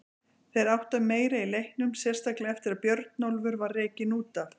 Þeir áttu meira í leiknum, sérstaklega eftir að Bjarnólfur var rekinn út af.